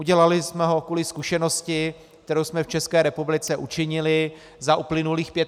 Udělali jsem ho kvůli zkušenosti, kterou jsem v České republice učinili za uplynulých 25 let.